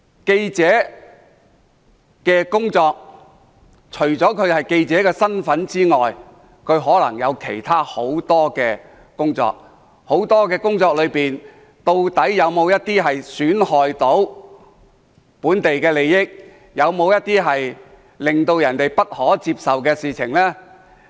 記者除了從事屬記者身份的工作外，亦可能有其他很多工作，在其各樣的工作中，究竟有否一些損害當地利益、有否一些令人不可接受的事？